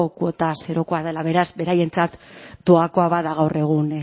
kuota zerokoa dela beraz beraientzat doakoa bada gaur egun